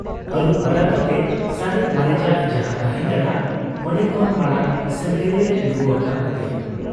ᱟᱹᱨᱩᱵ ᱵᱟᱲᱟ ᱠᱟᱛᱮ ᱥᱟᱨᱮᱡ ᱢᱟᱨᱮᱡᱟᱜ ᱡᱟᱦᱟᱸ ᱛᱟᱦᱮᱸ ᱠᱟᱱᱟ ᱚᱱᱰᱮ ᱠᱷᱚᱱ ᱢᱟᱬᱟᱝ ᱥᱟᱹᱝᱠᱷᱟᱹᱭᱮ ᱞᱩ ᱟᱠᱟ ᱦᱟᱫᱮᱭᱟ ᱾